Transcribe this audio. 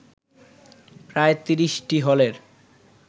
প্রায় ৩০টি হলের